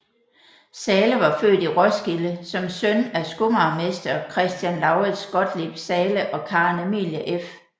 Zahle var født i Roskilde som søn af skomagermester Christian Lauritz Gottlieb Zahle og Karen Emilie f